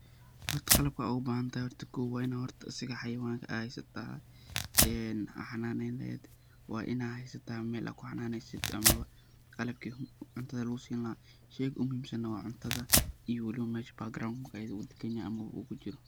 Horta qalabka ad ubahantay horta kow waina horta xawayanka ad heysata ad xananen lehed, waina heysata meel ad kuxananesid amaba qalabki cuntada lugusini laha, sheyga ogumuhimsan wa cunta iyo waliba meesha background uu daganye ama uu kujiro.